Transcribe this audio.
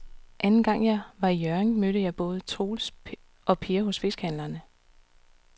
Anden gang jeg var i Hjørring, mødte jeg både Troels og Per hos fiskehandlerne.